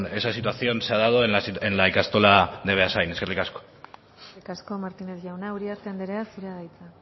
esa situación se ha dado en la ikastola de beasain eskerrik asko eskerrik asko martínez jauna uriarte andrea zurea da hitza